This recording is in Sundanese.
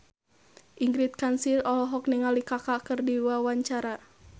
Ingrid Kansil olohok ningali Kaka keur diwawancara